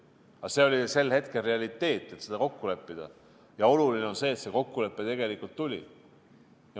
Aga see oli sel hetkel realiteet, et seda kokku leppida, ja oluline on see, et see kokkulepe tuli.